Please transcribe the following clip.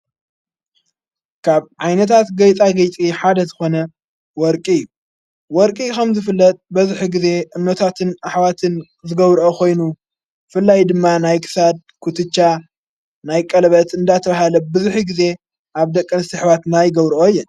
ካብ ዓይነታት ገይጣ ጐይጢ ሓደዝኾነ ወርቂ እዩ ወርቂ ኸም ዝፍለጥ በዝኂ ጊዜ እነታትን ኣኅዋትን ዘገብርኦ ኾይኑ ፍላይ ድማ ናይ ክሳድ ኽትጫ ናይ ቀልበት እንዳተ ብሃለ ብዙኂ ጊዜ ኣብ ደቀን ዝተ ኣኅዋትና ይገብረኦ እየን።